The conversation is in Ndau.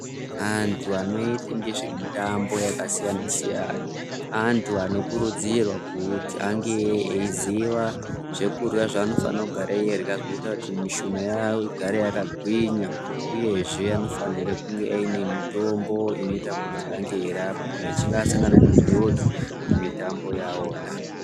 Antu anoite ngezve mutambo yakasiyana siyana antu anokurudzirwe kuti ange eiziva zvekurya zvaanofane kugare eirya zvinoita kuti mushuna yawo igare yakagwinya uyezve anofanire kunge aine mutombo inoita kuti ange yeirapa kana achinge asangana nenjodzi mumitambo yawona.